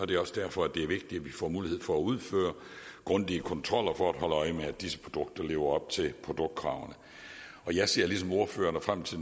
det er også derfor det er vigtigt at vi får mulighed for at udføre grundige kontroller for at holde øje med at disse produkter lever op til produktkravene jeg ser ligesom ordførerne frem til